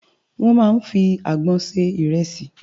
Wòn má n fi ágbòn sé irèsi